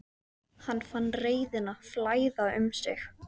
Hann fann reiðina flæða um sig.